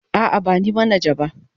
A'a, ba ni manaja ba.